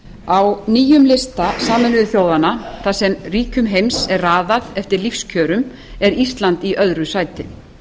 á nýjum lista sameinuðu þjóðanna þar sem ríkjum heims er raðað eftir lífskjörum er ísland í öðru sæti